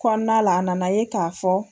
Kɔnna la a nana ye k'a fɔ.